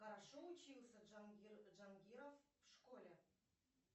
хорошо учился джангир джангиров в школе